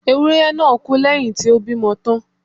Ewúré náà kú lẹ́yìn tí ó bímọ tán